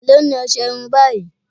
Èló ni ọṣẹ irun báyìí